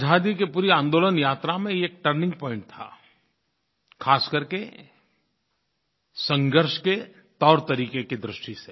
आज़ादी की पूरी आंदोलन यात्रा में यह एक टर्निंग पॉइंट था ख़ास करके संघर्ष के तौरतरीक़े की दृष्टि से